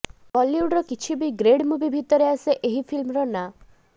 ବଲିଉଡର କିଛି B grade movie ଭିତରେ ଆସେ ଏହି ଫିଲ୍ମର ନାଁ